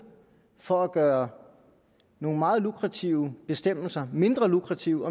for at gøre nogle meget lukrative bestemmelser mindre lukrative